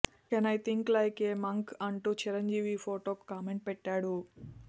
can I think like a monk అంటూ చిరంజీవి ఈ ఫొటోకు కామెంట్ పెట్టాడు